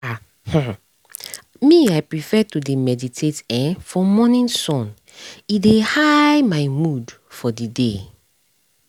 ah um me i prefer to dey meditate[um]for morning sun e dey high my mood for the day